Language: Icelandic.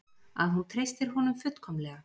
Að hún treystir honum fullkomlega.